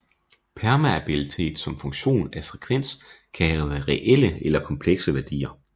Permeabilitet som funktion af frekvens kan have reelle eller komplekse værdier